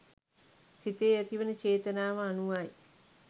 සිතේ් ඇතිවන චේතනාව අනුවයි.